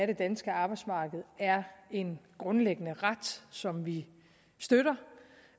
det danske arbejdsmarked er en grundlæggende ret som vi støtter